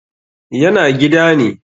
yana gida ne